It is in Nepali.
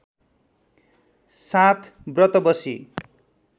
साथ ब्रत बसी